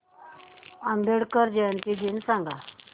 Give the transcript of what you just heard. आंबेडकर जयंती दिन सांग